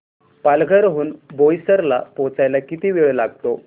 पालघर हून बोईसर ला पोहचायला किती वेळ लागतो